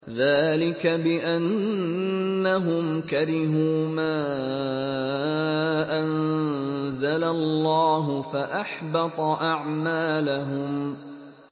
ذَٰلِكَ بِأَنَّهُمْ كَرِهُوا مَا أَنزَلَ اللَّهُ فَأَحْبَطَ أَعْمَالَهُمْ